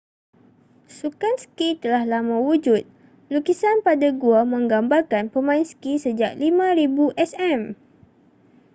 sukan ski telah lama wujud lukisan pada gua menggambarkan pemain ski sejak 5000 sm